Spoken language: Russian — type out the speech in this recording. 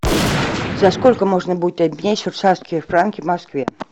за сколько можно будет обменять швейцарские франки в москве